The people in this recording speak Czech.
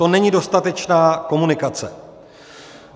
To není dostatečná komunikace.